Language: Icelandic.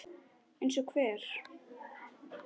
Eins og hver?